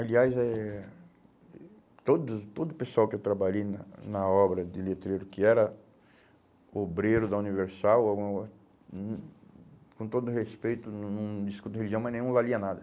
Aliás, eh todo todo o pessoal que eu trabalhei na na obra de letreiro, que era obreiro da Universal, hum com todo respeito, não não discuto religião, mas nenhum valia nada.